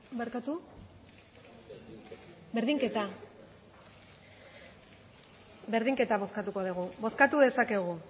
bozkatu dezakegu